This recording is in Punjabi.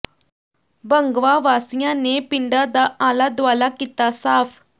ਭੰਗਵਾਂ ਵਾਸੀਆਂ ਨੇ ਪਿੰਡਾਂ ਦਾ ਆਲਾ ਦੁਆਲਾ ਕੀਤਾ ਸਾਫ਼